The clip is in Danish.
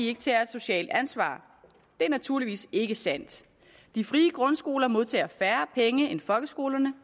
ikke tager et socialt ansvar det er naturligvis ikke sandt de frie grundskoler modtager færre penge end folkeskolerne